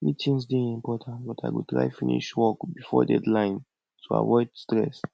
meetings dey important but i go try finish work before deadline to avoid stress